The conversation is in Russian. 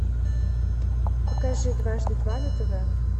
покажи дважды два на тв